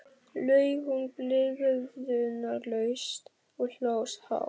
laug hún blygðunarlaust og hló hátt.